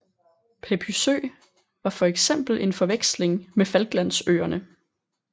Pepysø var for eksempel en forveksling med Falklandsøerne